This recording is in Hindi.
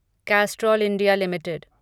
Castrol India limited